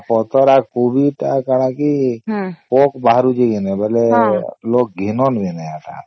ପତ୍ର ଆଉ କୋବି ଟା କଣ କି ପୋକ ବାହାରୁଚି କି ଲୋକ ଘିନାନ ବୋଲେ ଏଟା